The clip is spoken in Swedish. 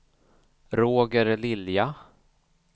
Roger Lilja